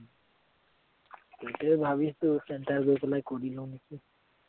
এতিয়া ভাবিছো center গৈ পেলায় কৰি লওঁ নেকি